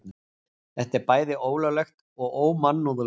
Þetta er bæði ólöglegt og ómannúðlegt